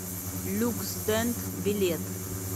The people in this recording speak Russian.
люксдент билет